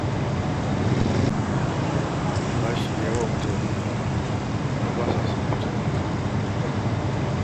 Bashi ya yi wa mutane yawa har ba sa son fita waje